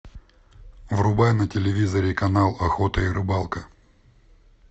врубай на телевизоре канал охота и рыбалка